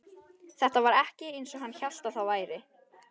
Þetta var ekki eins og hann hélt að það væri.